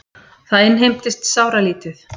Það innheimtist sáralítið.